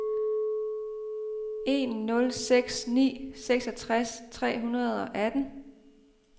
en nul seks ni seksogtres tre hundrede og atten